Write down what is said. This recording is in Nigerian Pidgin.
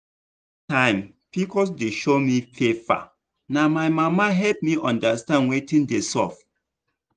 that time pcos dey show me pepper na my mama help me understand wetin dey sup.